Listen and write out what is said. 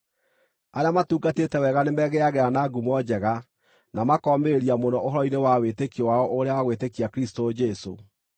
Arĩa matungatĩte wega nĩmegĩagĩra na ngumo njega, na makomĩrĩria mũno ũhoro-inĩ wa wĩtĩkio wao ũrĩa wa gwĩtĩkia Kristũ Jesũ.